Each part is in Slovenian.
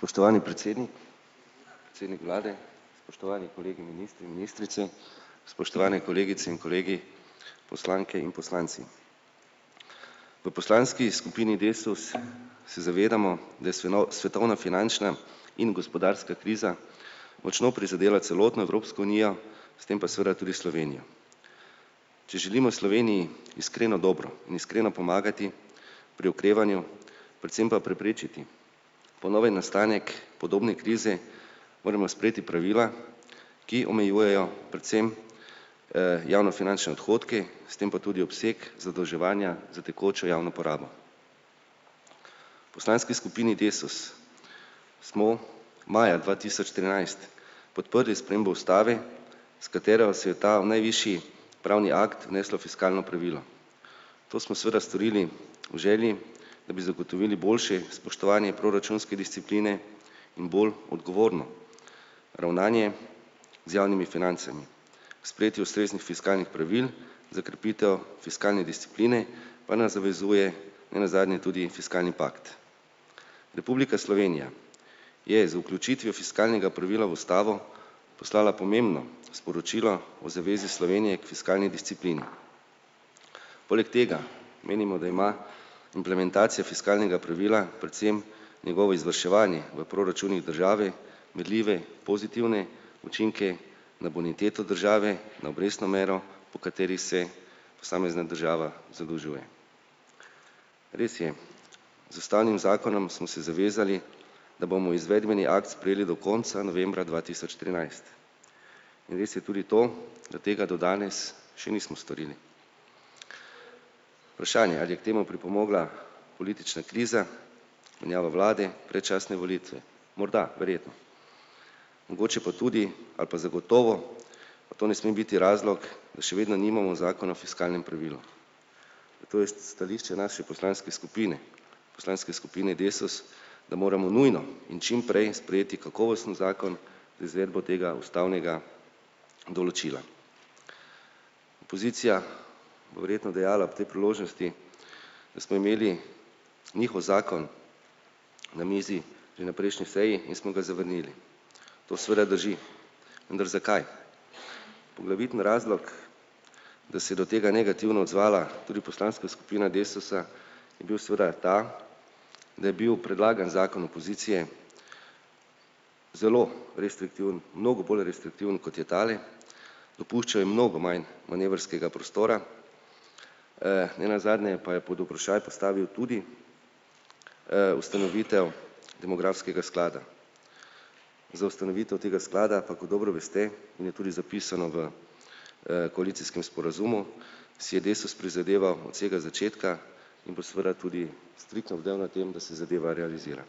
Spoštovani predsednik, predsednik vlade spoštovani kolegi ministri, ministrice, spoštovane kolegice in kolegi, poslanke in poslanci. V poslanski skupini Desus se zavedamo, da je svetovna finančna in gospodarska kriza močno prizadela celotno Evropsko unijo, s tem pa seveda tudi Slovenijo. Če želimo Sloveniji iskreno dobro in iskreno pomagati pri okrevanju, predvsem pa preprečiti ponoven nastanek podobne krize, moramo sprejeti pravila, ki omejujejo predvsem, javnofinančne odhodke, s tem pa tudi obseg zadolževanja za tekočo javno porabo. Poslanski skupini Desus smo maja dva tisoč trinajst podprli spremembo ustave, s katero si je ta najvišji pravni akt vneslo fiskalno pravilo. To smo seveda storili v želji, da bi zagotovili boljše spoštovanje proračunske discipline in bolj odgovorno ravnanje z javnimi financami, k sprejetju ustreznih fiskalnih pravil za krepitev fiskalne discipline pa nas zavezuje nenazadnje tudi fiskalni pakt. Republika Slovenija je z vključitvijo fiskalnega pravila v ustavo poslala pomembno sporočilo o zavezi Slovenije k fiskalni disciplini. Poleg tega menimo, da ima implementacija fiskalnega pravila, predvsem njegovo izvrševanje, v proračunih države merljive pozitivne učinke na boniteto države, na obrestno mero, po kateri se posamezna država zadolžuje. Res je, z ustavnim zakonom smo se zavezali, da bomo izvedbeni akt sprejeli do konca novembra dva tisoč trinajst. In res je tudi to, da tega do danes še nismo storili. Vprašanje, ali je k temu pripomogla politična kriza, menjava vlade, predčasne volitve morda, verjetno. Mogoče pa tudi, ali pa zagotovo, pa to ne sme biti razlog, da še vedno nimamo zakona o fiskalnem pravilu. To je stališče naše poslanske skupine, poslanske skupine Desus, da moramo nujno in čimprej sprejeti kakovosten zakon za izvedbo tega ustavnega določila. Opozicija bo verjetno dejala ob tej priložnosti, da smo imeli njihov zakon na mizi pri na prejšnji seji in smo ga zavrnili. To seveda drži. Vendar zakaj? Poglavitni razlog, da se je do tega negativno odzvala tudi poslanska skupina Desusa, je bil seveda ta, da je bil predlagani zakon opozicije zelo restriktiven, mnogo bolj restriktiven, kot je tale, dopuščajo mnogo manj manevrskega prostora. Nenazadnje je pa je pod vprašaj postavil tudi, ustanovitev demografskega sklada. Za ustanovitev tega sklada pa, kot dobro veste in je tudi zapisano v, koalicijskem sporazumu, si je Desus prizadeval od vsega začetka in bo seveda tudi striktno bdel nad tem, da se zadeva realizira.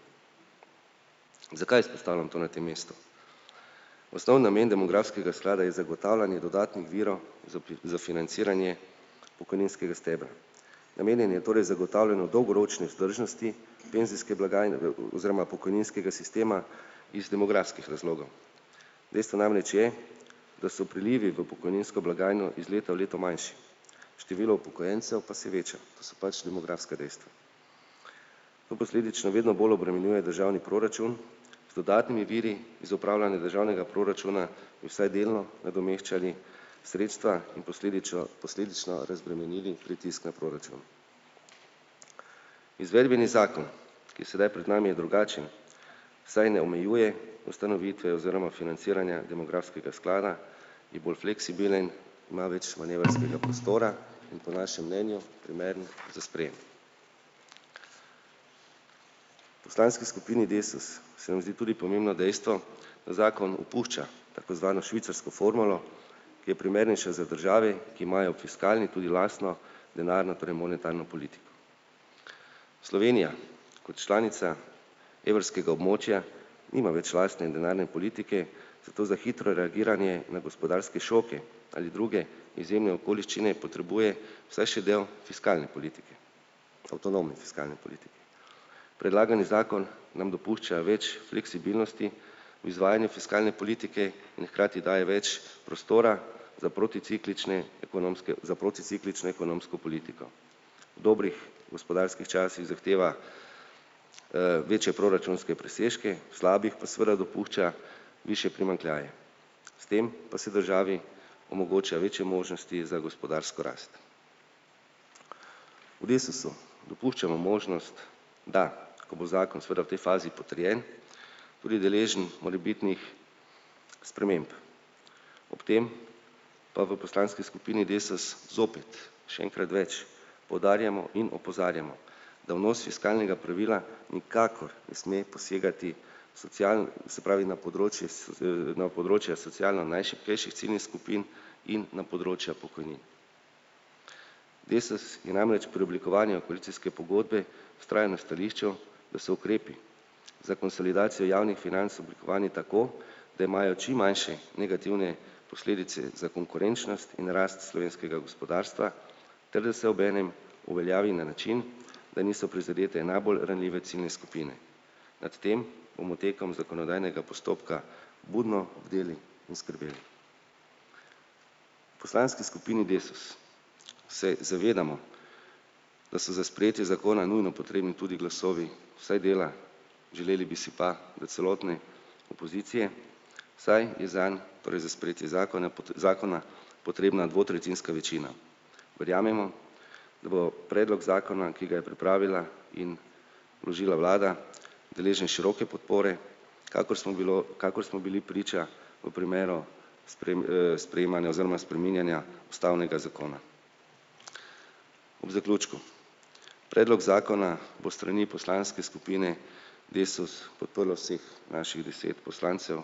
Zakaj izpostavljam to na tem mestu? Osnovni namen demografskega sklada je zagotavljanje dodatnih virov z za financiranje pokojninskega stebra. Namenjen je torej zagotavljanju dolgoročne vzdržnosti penzijske blagajne, oziroma pokojninskega sistema iz demografskih razlogov. Dejstvo namreč je, da so prilivi v pokojninsko blagajno iz leta v leto manjši. Število upokojencev pa se veča. To so pač demografska dejstva. To posledično vedno bolj obremenjuje državni proračun z dodatnimi viri, iz upravljanja državnega proračuna bi vsaj delno nadomeščali sredstva in posledično razbremenili pritisk na proračun. Izvedbeni zakon, ki je sedaj pred nami je drugačen, saj ne omejuje ustanovitve oziroma financiranja demografskega sklada, je bolj fleksibilen, ima več manevrskega prostora in po našem mnenju primeren za sprejem. Poslanski skupini Desus se mi zdi tudi pomembno dejstvo, da zakon opušča tako zvano švicarsko formulo, ki je primernejša za države, ki imajo v fiskalni tudi lastno denarno, torej monetarno politiko. Slovenija kot članica evrskega območja nima več lastne denarne politike, zato za hitro reagiranje na gospodarske šoke ali druge izjemne okoliščine potrebuje vsaj še del fiskalne politike avtonomne fiskalne politike. Predlagani zakon nam dopušča več fleksibilnosti v izvajanju fiskalne politike in hkrati daje več prostora za proticiklične ekonomske, za proticiklično ekonomsko politiko. V dobrih gospodarskih časih zahteva, večje proračunske presežke, v slabih pa seveda dopušča višje primanjkljaje. S tem pa se državi omogoča večje možnosti za gospodarsko rast. V Desusu dopuščamo možnost, da ko bo zakon seveda v tej fazi potrjen, tudi deležen morebitnih sprememb. Ob tem pa v poslanski skupini Desus zopet, še enkrat več, poudarjamo in opozarjamo, da vnos fiskalnega pravila nikakor ne sme posegati se pravi, na področju na področja socialno najšibkejših ciljnih skupin in na področja pokojnin. Desus je namreč pri oblikovanju koalicijske pogodbe vztrajno stališču, da so ukrepi za konsolidacijo javnih financ oblikovani tako, da imajo čim manjše negativne posledice za konkurenčnost in rast slovenskega gospodarstva ter da se obenem uveljavi na način, da niso prizadete najbolj ranljive ciljne skupine. Nad tem bomo tekom zakonodajnega postopka budno bdeli in skrbeli. Poslanski skupini Desus se zavedamo, da so za sprejetje zakona nujno potrebni tudi glasovi vsaj dela, želeli bi si pa, da celotne opozicije, saj je zanj, torej za sprejetje zakona zakona potrebna dvotretjinska večina. Verjamemo, da bo predlog zakona, ki ga je pripravila in vložila vlada, deležen široke podpore, kakor smo bili, kakor smo bili priča v primeru sprejemanja oziroma spreminjanja ustavnega zakona. Ob zaključku, predlog zakona bo s strani poslanske skupine Desus podprlo vseh naših deset poslancev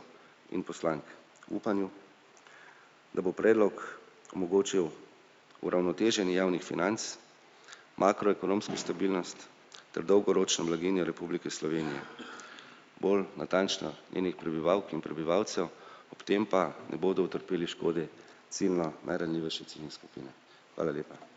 in poslank v upanju, da bo predlog omogočil uravnoteženje javnih financ, makroekonomsko ekonomsko stabilnost ter dolgoročno blaginjo Republike Slovenije. Bolj natančno, njenih prebivalk in prebivalcev, ob tem pa ne bodo utrpele škode ciljno najranljivejše ciljne skupine. Hvala lepa.